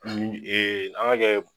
Nin ee an ga kɛɛ